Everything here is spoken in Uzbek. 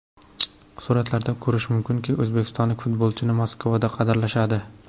Suratlardan ko‘rish mumkinki, o‘zbekistonlik futbolchini Moskvada qadrlashadi.